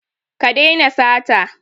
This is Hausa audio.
Ka daina sata.